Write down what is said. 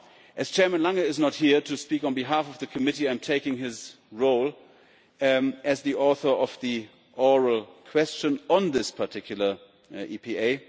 As Chairman Lange is not here to speak on behalf of the Committee, I am taking his role as the author of the oral question on this particular EPA.